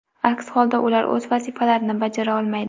Aks holda ular o‘z vazifalarini bajara olmaydi.